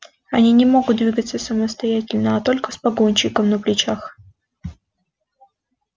они не могут двигаться самостоятельно а только с погонщиком на плечах